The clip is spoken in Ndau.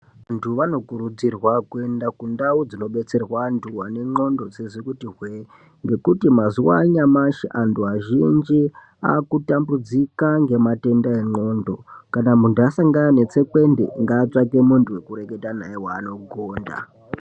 Vantu vanokurudzirwa kuenda kundau dzinodetserwa antu anendxondo dzisizi kuti hwee, ngekuti mazuwa anyamashi antu azhinji akutambudzika ngematenda endxondo, kana muntu asangana netsekwende ngaatsvake muntu wekureketa naye weanogonda.